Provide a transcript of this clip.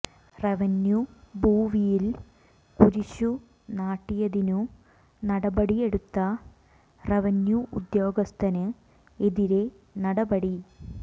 revenue ഭൂവിയിൽ കുരിശു നാട്ടിയതിനു നടപടി എടുത്ത റവന്യു ഉദ്യോഗസ്ഥന് എതിരെ നടപടി